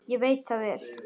Ég veit það vel!